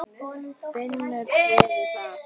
Finnur friðinn þar.